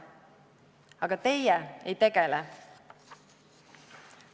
Aga teie ei tegele.